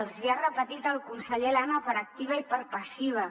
els hi ha repetit el conseller elena per activa i per passiva